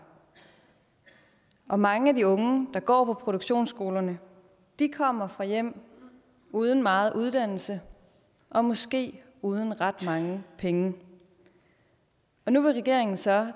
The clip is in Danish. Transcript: og mange af de unge der går på produktionsskolerne kommer fra hjem uden meget uddannelse og måske uden ret mange penge og nu vil regeringen så